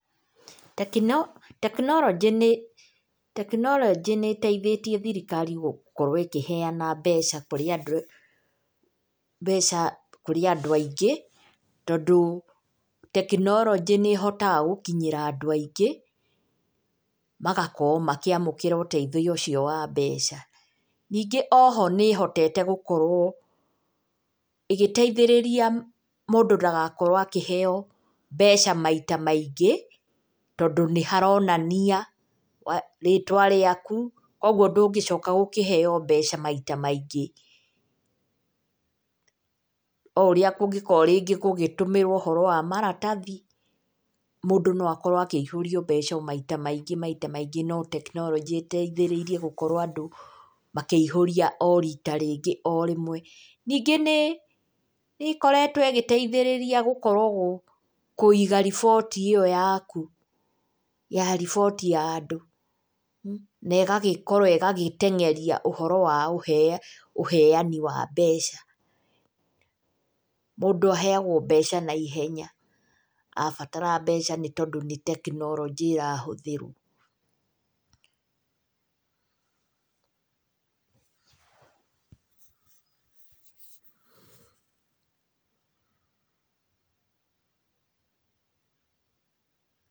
Tekinoronjĩ, tekinoronjĩ nĩ ĩteithĩtie thirikari gũkorwo ĩkĩheana mbeca kũrĩ andũ aingĩ tondũ tekinoronjĩ nĩ ĩhotaga gũkinyĩra andũ aingĩ magakorwo makĩamũkĩra ũteithio ũcio wa mbeca. Ningĩ o ho nĩ ĩhotete gũkorwo ĩgĩteithĩrĩria mũndũ ndagakorwo akĩheyo mbeca maita maingĩ tondũ nĩ haronania rĩtwa rĩaku, koguo ndũngĩcoka gũkĩheo mbeca maita maingĩ. O ũrĩa kũngĩkorwo rĩngĩ gũgĩtũmĩrwo ũhoro wa maratathi, mũndũ no akĩihũria mbeca maita maingĩ maita maingĩ, no tekinoronjĩ ĩteithĩrĩirie gũkorwo andũ makĩihũria o rita rĩngĩ o rĩmwe. Ningĩ nĩ ĩkoretwo ĩgĩteithĩrĩria gũkorwo kũiga riboti ĩyo yaku, ya riboti ya andũ na ĩgagĩkorwo ĩgagĩtengeria ũhoro wa ũheani wa mbeca. Mũndũ aheagwo mbeca naihenya abatara mbeca nĩ tondũ nĩ tekinoronjĩ ĩrahũthĩrwo....